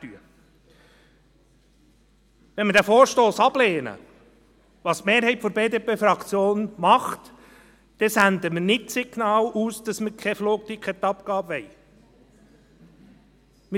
Wenn wir den Vorstoss ablehnen, was die Mehrheit der BDP-Fraktion tut, senden wir nicht das Signal aus, dass wir keine Flugticketabgabe wollen.